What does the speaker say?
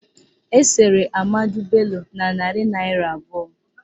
Esere Ahmadu Bello na narị naịra abụọ